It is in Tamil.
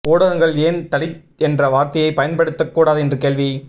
ஊடகங்கள் ஏன் தலித் என்ற வார்த்தையை பயன்படுத்தக் கூடாது என்று கேள்வி